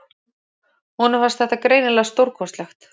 Honum fannst þetta greinilega stórkostlegt.